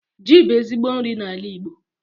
Ji bụ ezigbo nri n'ala Igbo